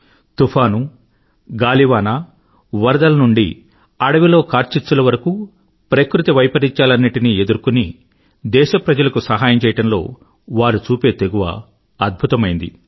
తుఫాను గాలివాన వరదలు నుండి అడవిలో కార్చిచ్చుల వరకూ ప్రకృతి వైపరీత్యాలన్నింటినీ ఎదుర్కొని దేశప్రజలకు సహాయం చెయ్యడంలో వారు చూపే తెగువ అద్భుతమైనది